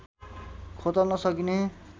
खोतल्न सकिने